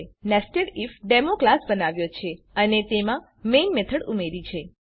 આપણે નેસેડિફ્ડેમો ક્લાસ બનાવ્યો છે અને તેમાં મેઈન મેથડ ઉમેરી છે